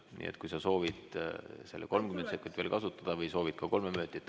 Nii et kui sa soovid seda 30 sekundit veel kasutada või soovid ka kolme minutit ...